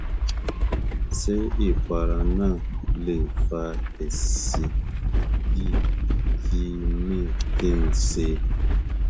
ṣé ìpara náà lè fa èsì yìí kí ni kí n ṣe